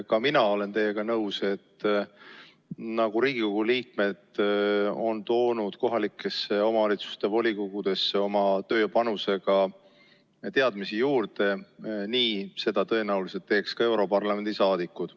Ka mina olen teiega nõus, et nii nagu Riigikogu liikmed on toonud kohalike omavalitsuste volikogudesse oma tööpanusega teadmisi juurde, nii teeks seda tõenäoliselt ka europarlamendi saadikud.